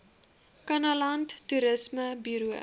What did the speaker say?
kannaland toerisme buro